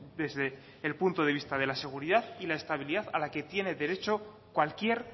desde el punto de vista de la seguridad y la estabilidad a la que tiene derecho cualquier